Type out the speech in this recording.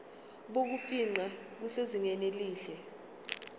bokufingqa busezingeni elihle